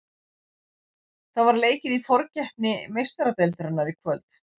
Það var leikið í forkeppni Meistaradeildarinnar í kvöld.